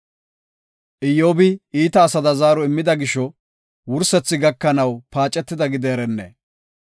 Iyyobi iita asada zaaro immida gisho, wursethi gakanaw paacetida gideerenne!